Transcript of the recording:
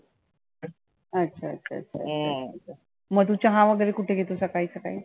अच्छा अच्छा अच्छा मग तु चहा वगैरे कुठे घेतो सकाळी सकाळी?